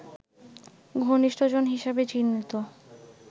ঘনিষ্ঠজন হিসেবে চিহ্নিত